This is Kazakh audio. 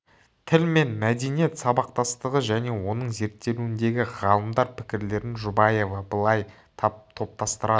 тіл мен мәдениет сабақтастығы және оның зерттелуіндегі ғалымдар пікірлерін жұбаева былай топтастырады